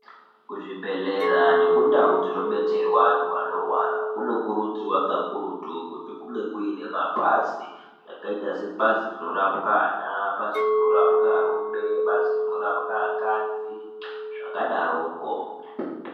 Kuzvibhedhlera nekundau dzino betserwa antu anorwara kuno kurudzirwa kakurutu kuti kunge kuine mapazi zvakaita sebazi rinorapwa ana, bazi rinorapwa arume, bazi rinorapwa akadzi zvakadaroko.